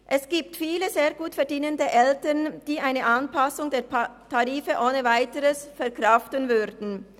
Es gibt viele sehr gut verdienende Eltern, die eine Anpassung der Tarife ohne Weiteres verkraften würden.